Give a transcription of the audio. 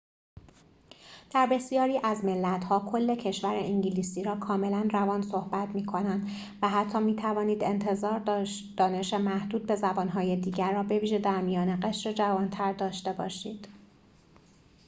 در بسیاری از ملت‌ها کل کشور انگلیسی را کاملاً روان صحبت می‌کنند و حتی می‌توانید انتظار دانش محدود به زبان‌های دیگر را بویژه در میان قشر جوانتر داشته باشید